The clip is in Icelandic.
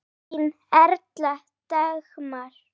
Þín Erla Dagmar.